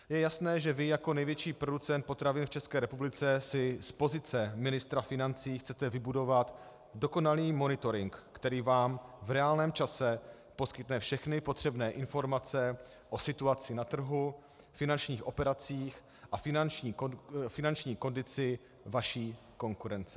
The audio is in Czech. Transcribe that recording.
Je jasné, že vy jako největší producent potravin v České republice si z pozice ministra financí chcete vybudovat dokonalý monitoring, který vám v reálném čase poskytne všechny potřebné informace o situaci na trhu, finančních operacích a finanční kondici vaší konkurence.